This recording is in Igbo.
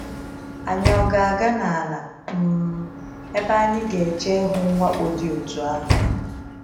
Anyị ọ ga aga n’ala um ebe anyị ga eche ihu mwakpo dị otú ahụ?